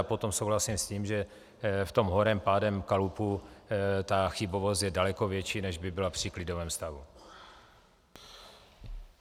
A potom souhlasím s tím, že v tom horem pádem kalupu ta chybovost je daleko větší, než by byla při klidovém stavu.